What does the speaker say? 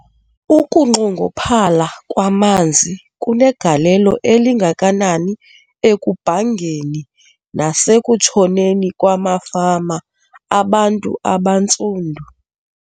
Ukunxongophala kwamanzi kunegalelo elingakanani ekubhangeni nasekutshoneni kwamafama abantu abantsundu.